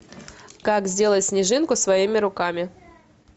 как сделать снежинку своими руками